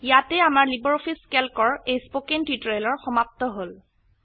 ইয়াতেই আমাৰ লাইব্ৰঅফিছ ক্যালকৰ এই স্পকেন টিউটোৰিয়েল সমাপ্ত হল